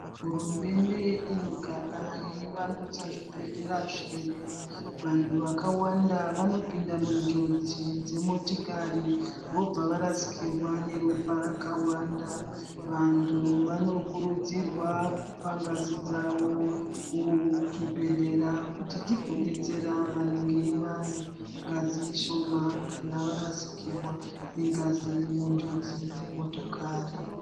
Hurumende inogara yeivandudza zvibhedhlera zvedu. Vantu wakawanda vanopinda mujodzi dzemotikari vobva varasikirwa neropa rakawanda. Vantu vanokurudzirwa kupa ngazi dzavo kuzvibhedhlera kuti dzigobetsera vanenge vane ngazi shoma kana varasikirwa nengazi munjodzi dzemotokari.